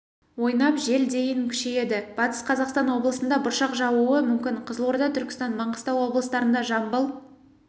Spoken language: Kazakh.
ойнап жел дейін күшейеді батыс қазақстан облысында бұршақ жаууы мүмкін қызылорда түркістан маңғыстау облыстарында жамбыл